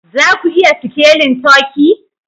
Za ku iya sikelin turkey?